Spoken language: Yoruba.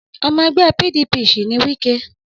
Ọmọ ẹgbẹ́ PDP sì ni Wike.